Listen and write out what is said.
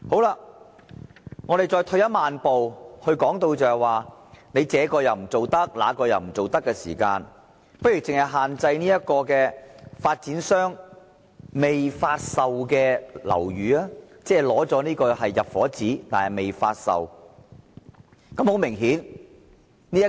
讓我們再退一萬步，既然政府這不做，那又不做，不如僅對發展商未發售的樓宇施加限制，即那些只獲發出"入伙紙"但仍未發售的樓宇。